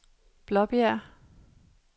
Blåbjerg